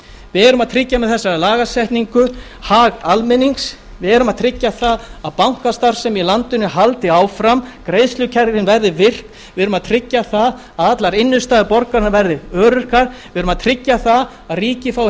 erum að tryggja með þessari lagasetningu hag almennings við erum að tryggja að bankastarfsemi í landinu haldi áfram greiðslukerfin verði virk við erum að tryggja að allar innistæður borgaranna verði öruggar við erum að tryggja að ríkið fái heimild